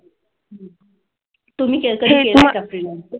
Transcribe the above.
तुम्ही केलं कधी केलं का? freelancing?